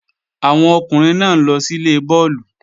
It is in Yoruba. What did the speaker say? Àwọn ọkùnrin náà ń lọ síle bọ́ọ̀lù